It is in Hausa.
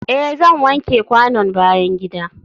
eh zan wanke kwanon bayan gida.